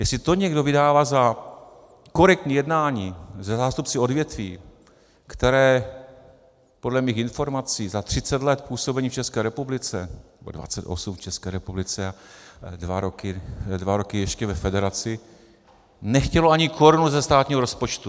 Jestli to někdo vydává za korektní jednání se zástupci odvětví, které podle mých informací za 30 let působení v České republice, nebo 28 v České republice a dva roky ještě ve federaci, nechtělo ani korunu ze státního rozpočtu.